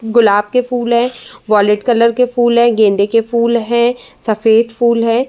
गुलाब के फ़ूल हैं। वॉइलेट कलर के फ़ूल हैं। गेंदे के फ़ूल हैं। सफ़ेद फ़ूल हैं।